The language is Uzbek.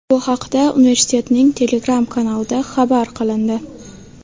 Bu haqda universitetning Telegram kanalida xabar qilindi .